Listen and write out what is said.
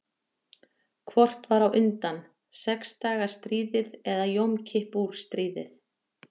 Hvort var á undan; sex daga stríðið eða Jom Kippur stríðið?